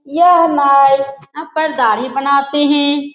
यह हमाय आं पर दाढ़ी बनाते है।